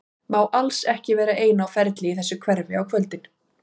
Má alls ekki vera ein á ferli í þessu hverfi á kvöldin.